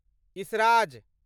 esraj